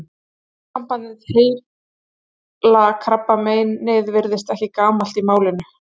Orðasambandið heila klabbið virðist ekki gamalt í málinu.